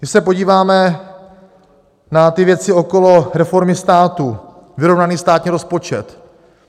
Když se podíváme na ty věci okolo reformy státu - vyrovnaný státní rozpočet.